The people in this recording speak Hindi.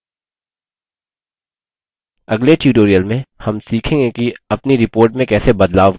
अगले tutorial में हम सीखेंगे कि अपनी report में कैसे बदलाव करें